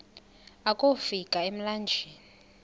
akofi ka emlanjeni